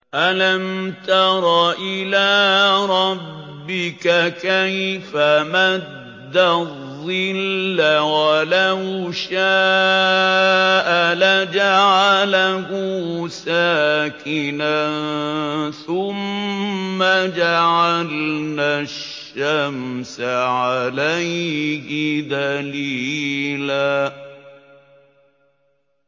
أَلَمْ تَرَ إِلَىٰ رَبِّكَ كَيْفَ مَدَّ الظِّلَّ وَلَوْ شَاءَ لَجَعَلَهُ سَاكِنًا ثُمَّ جَعَلْنَا الشَّمْسَ عَلَيْهِ دَلِيلًا